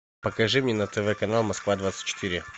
покажи мне на тв канал москва двадцать четыре